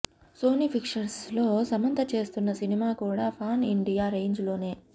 Sony Pictures లో సమంత చేస్తున్న cinema కూడా పాన్ ఇండియా రేంజ్ లోనే